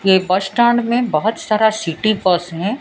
ये bus stand में बहोत सारा सिटी बस हैं।